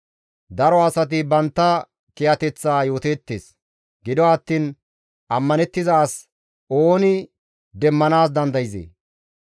Daro asati bantta kiyateththa yooteettes; gido attiin ammanettiza as ooni demmanaas dandayzee?